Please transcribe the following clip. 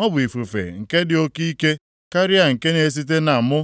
ọ bụ ifufe nke dị oke ike karịa nke na-esite na mụ.